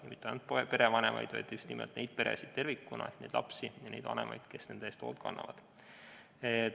Ja toetada ei tule mitte ainult perevanemaid, vaid just nimelt peresid tervikuna, nii neid lapsi kui ka vanemaid, kes nende eest hoolt kannavad.